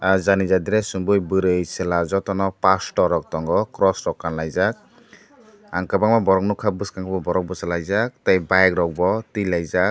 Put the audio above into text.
ah jani ja dress chumui tei chwla joto no pastor rok tongo cross rok kanlaijak ang kwbangma borok nugkha bwskango borok bwsalaijak tai bike rok bo tilaijak.